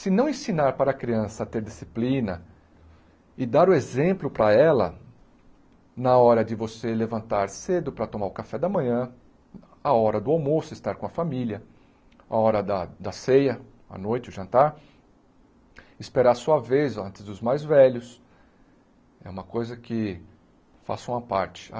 Se não ensinar para a criança a ter disciplina e dar o exemplo para ela na hora de você levantar cedo para tomar o café da manhã, a hora do almoço, estar com a família, a hora da da ceia, a noite, o jantar, esperar a sua vez antes dos mais velhos, é uma coisa que faça uma parte.